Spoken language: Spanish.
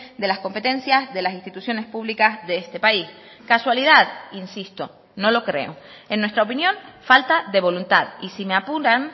de las competencias de las instituciones públicas de este país casualidad insisto no lo creo en nuestra opinión falta de voluntad y si me apuran